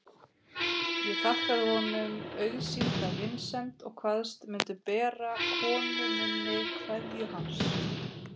Ég þakkaði honum auðsýnda vinsemd og kvaðst mundu bera konu minni kveðju hans.